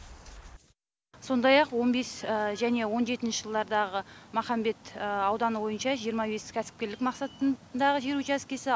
сондай ақ он бес және он жетінші жылдардағы махамбет ауданы бойынша жиырма бес кәсіпкерлік мақсатындағы жер учаскесі